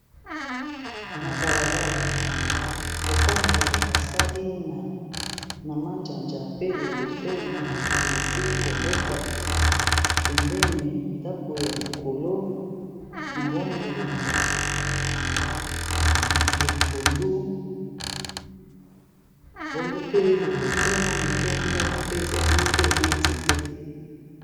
Na balabala lopango ba sali na mazanza pe liboso matiti esili kobota, pembeni ndaku ya likolo na langi ya pondu, bongo pe liboso mwa moke, ndako pe ezali pe na nzete .